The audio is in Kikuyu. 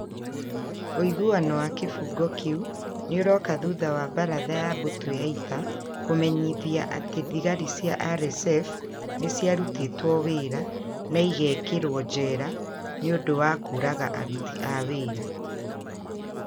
Ũiguano wa kĩbungo kĩu nĩũroka thutha wa baratha ya mbũtũ ya ita kũmenyithia atĩ thigari cia RSF nĩ ciarutĩtwo wĩra na igekĩrũo njera nĩ ũndũ wa kũũraga aruti a wĩra.